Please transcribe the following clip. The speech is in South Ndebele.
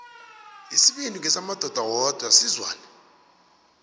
isibindi ngesamadoda wodwa sizwane